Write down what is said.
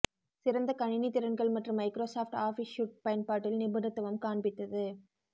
சிறந்த கணினி திறன்கள் மற்றும் மைக்ரோசாஃப்ட் ஆஃபீஸ் சூட் பயன்பாட்டில் நிபுணத்துவம் காண்பித்தது